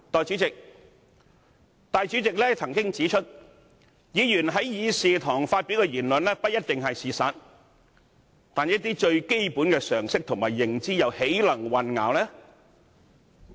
主席曾經指出，議員於議事堂發表的言論不一定是事實，但一些最基本的常識及認知又豈能混淆？